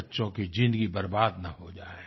बच्चों की जिंदगी बर्बाद न हो जाए